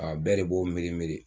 bɛɛ de b'o miiri miiri